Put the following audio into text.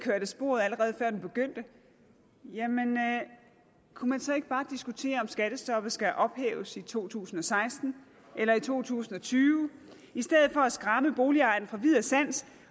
af sporet allerede før den begyndte jamen kunne man så ikke bare diskutere om skattestoppet skal ophæves i to tusind og seksten eller i to tusind og tyve i stedet for at skræmme boligejerne fra vid og sans